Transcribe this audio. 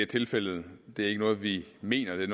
tilfældet det er ikke noget vi mener det